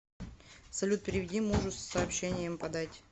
салют переведи мужу с сообщением подать